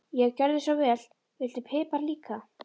Já, gjörðu svo vel. Viltu pipar líka?